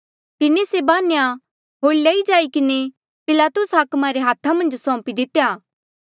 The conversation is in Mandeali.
तिन्हें से बान्ह्या होर लई जाई किन्हें पिलातुस हाकमा रे हाथा मन्झ सौंपी दितेया